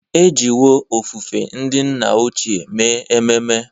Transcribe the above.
E jiwo ofufe ndị nna ochie mee ememe.